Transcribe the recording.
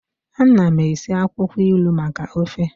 Ana m esi akwukwo ilu maka ofe